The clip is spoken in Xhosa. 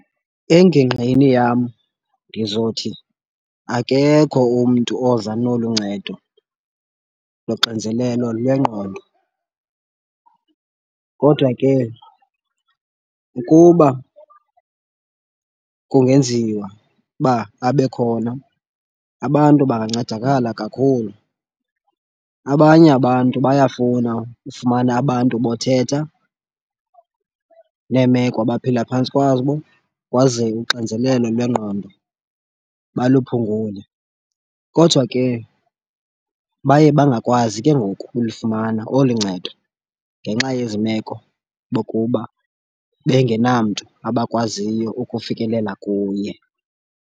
Engingqini yam ndizothi akekho umntu oza nolu ncedo loxinzelelo lwengqondo. Kodwa ke ukuba kungenziwa uba abe khona abantu bangancedakala kakhulu. Abanye abantu bayafuna ufumana abantu bothetha neemeko abaphila phantsi kwazo kwazeke uxinzelelo lwengqondo baluphungule. Kodwa ke baye bangakwazi ke ngoku ulifumana olu ncedo ngenxa yezi meko bokuba bengenamntu abakwaziyo ukufikelela kuye.